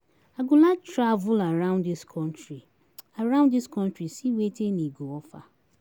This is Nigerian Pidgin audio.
I go like to travel around dis country around dis country see wetin e go offer.